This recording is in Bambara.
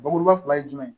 Bakuruba fila ye jumɛn ye